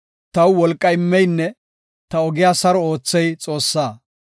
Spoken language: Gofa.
Taw wolqa immeynne ta ogiya saro oothey Xoossaa.